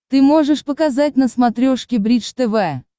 ты можешь показать на смотрешке бридж тв